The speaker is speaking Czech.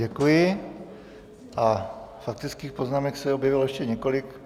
Děkuji a faktických poznámek se objevilo ještě několik.